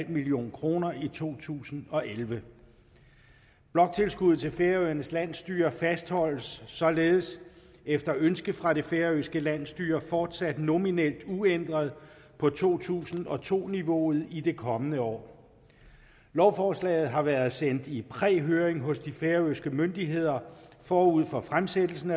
million kroner i to tusind og elleve bloktilskuddet til færøernes landsstyre fastholdes således efter ønske fra det færøske landsstyre fortsat nominelt uændret på to tusind og to niveauet i det kommende år lovforslaget har været sendt i præhøring hos de færøske myndigheder forud for fremsættelsen